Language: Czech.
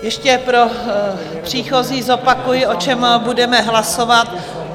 Ještě pro příchozí zopakuji, o čem budeme hlasovat.